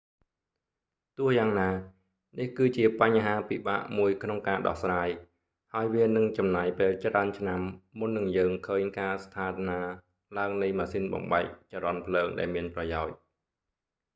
ទោះយ៉ាងណា នេះគឺជាបញ្ហាពិបាកមួយក្នុងការដោះស្រាយ ហើយវានឹងចំណាយពេលច្រើនឆ្នាំមុននិងយើងឃើញការស្ថានាឡើងនៃម៉ាស៊ីនបំបែកចរន្តភ្លើងដែលមានប្រយោជន៍